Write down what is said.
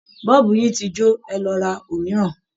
Bọ́ọ̀bù yín ti jó, ẹ lọ ra òmíràn!